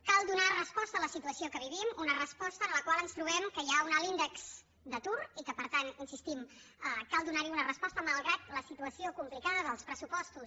cal donar resposta a la situació que vivim una resposta en la qual ens trobem que hi ha un alt índex d’atur i que per tant hi insistim cal donar hi una resposta malgrat la situació complicada dels pressupostos